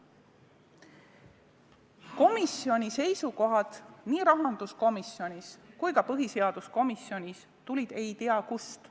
Komisjoni seisukohad nii rahanduskomisjonis kui ka põhiseaduskomisjonis tulid ei tea kust.